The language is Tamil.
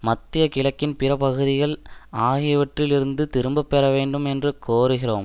மத்திய கிழக்கின் பிற பகுதிகள் ஆகியவற்றில் இருந்து திரும்ப பெறவேண்டும் என்று கோருகிறோம்